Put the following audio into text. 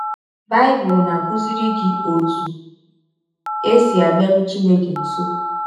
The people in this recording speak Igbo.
Bible na - akụziri gị ọtụ e si abịarụ Chineke nsọ